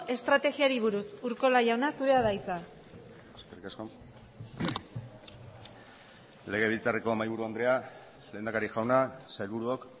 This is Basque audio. estrategiari buruz urkola jauna zurea da hitza eskerrik asko legebiltzarreko mahaiburu andrea lehendakari jauna sailburuok